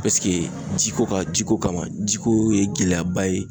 ji ko ka? ji ko kama. Ji ko ye gɛlɛyaba ye.